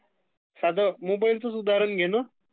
साधं मोबाइलचं च उदाहरण घे ..नं